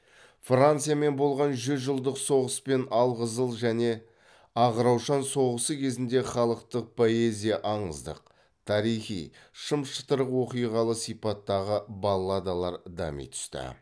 франциямен болған жүз жылдық соғыс пен алқызыл және ақ раушан соғысы кезеңінде халықтық поэзия аңыздық тарихи шым шытырық оқиғалы сипаттағы балладалар дами түсті